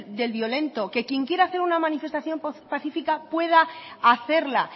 del violento que quien quiera hacer una manifestación pacíica pueda hacerla